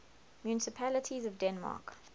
municipalities of denmark